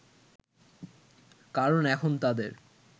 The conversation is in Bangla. কারণ এখন তাদের